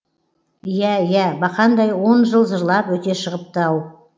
иә иә бақандай он жыл зырлап өте шығыпты ау